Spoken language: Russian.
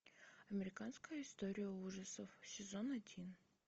американская история ужасов сезон один